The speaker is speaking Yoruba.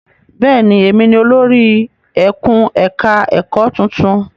Bẹ́ẹ̀ ni, èmi ni olórí ẹkùn-ẹ̀ka-ẹ̀kọ́ tuntun.